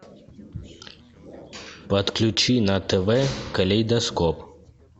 подключи на тв калейдоскоп